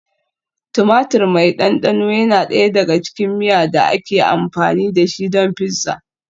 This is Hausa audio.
Tumatir mai ɗanɗano yana ɗaya daga cikin miya da ake amfani da shi don pizza.